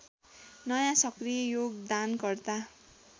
नयाँ सक्रिय योगदानकर्ता